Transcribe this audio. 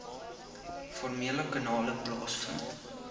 formele kanale plaasvind